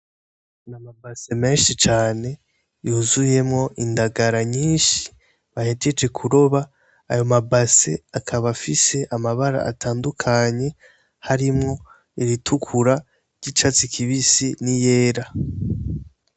Ni amabase menshi cane yuzuyemwo indagara nyinshi bahejeje kuroba; ayo mabase akaba afise amabara atandukanye harimwo iritukura, iry'icatsi kibisi n'iyera.